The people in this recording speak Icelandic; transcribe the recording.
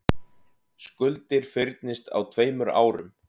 Skuldir fyrnist á tveimur árum